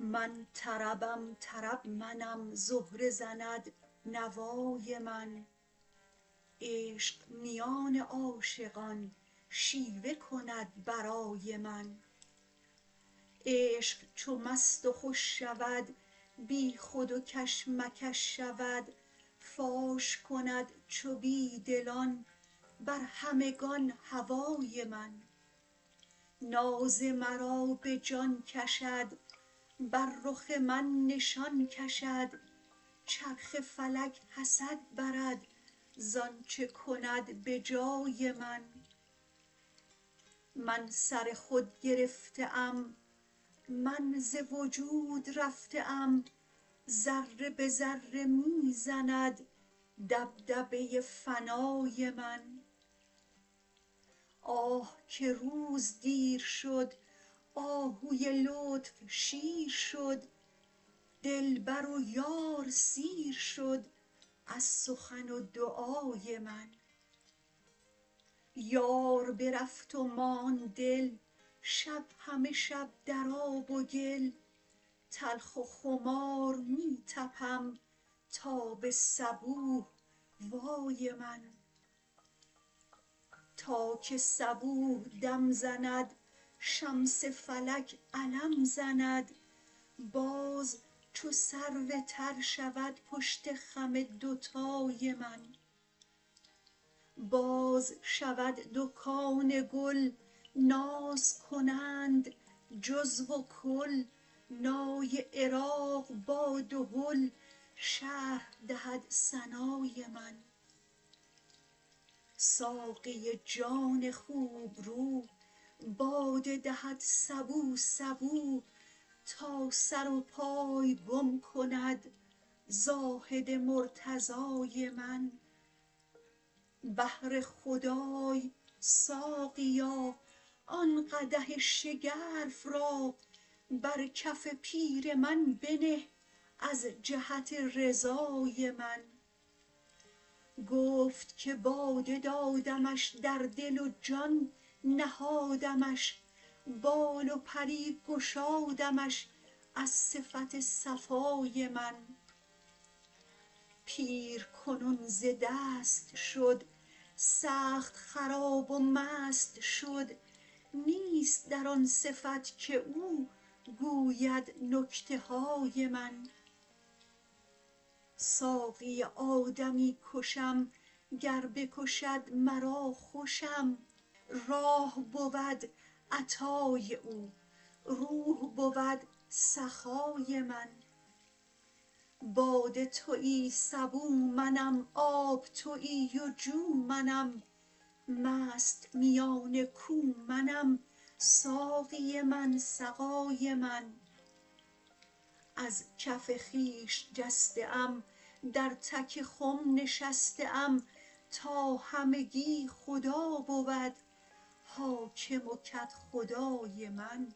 من طربم طرب منم زهره زند نوای من عشق میان عاشقان شیوه کند برای من عشق چو مست و خوش شود بیخود و کش مکش شود فاش کند چو بی دلان بر همگان هوای من ناز مرا به جان کشد بر رخ من نشان کشد چرخ فلک حسد برد ز آنچ کند به جای من من سر خود گرفته ام من ز وجود رفته ام ذره به ذره می زند دبدبه فنای من آه که روز دیر شد آهوی لطف شیر شد دلبر و یار سیر شد از سخن و دعای من یار برفت و ماند دل شب همه شب در آب و گل تلخ و خمار می طپم تا به صبوح وای من تا که صبوح دم زند شمس فلک علم زند باز چو سرو تر شود پشت خم دوتای من باز شود دکان گل ناز کنند جزو و کل نای عراق با دهل شرح دهد ثنای من ساقی جان خوبرو باده دهد سبو سبو تا سر و پای گم کند زاهد مرتضای من بهر خدای ساقیا آن قدح شگرف را بر کف پیر من بنه از جهت رضای من گفت که باده دادمش در دل و جان نهادمش بال و پری گشادمش از صفت صفای من پیر کنون ز دست شد سخت خراب و مست شد نیست در آن صفت که او گوید نکته های من ساقی آدمی کشم گر بکشد مرا خوشم راح بود عطای او روح بود سخای من باده توی سبو منم آب توی و جو منم مست میان کو منم ساقی من سقای من از کف خویش جسته ام در تک خم نشسته ام تا همگی خدا بود حاکم و کدخدای من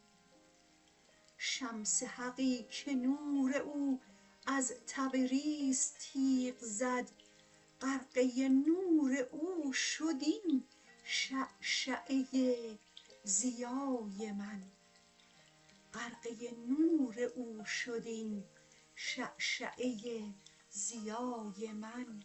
شمس حقی که نور او از تبریز تیغ زد غرقه نور او شد این شعشعه ضیای من